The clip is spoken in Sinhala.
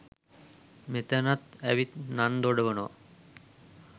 මෙතනත් ඇවිත් නන් දොඩවනව.